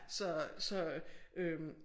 Så så øh